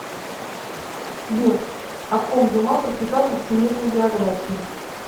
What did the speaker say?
сбер о ком дюма прочитал во всемирной биографии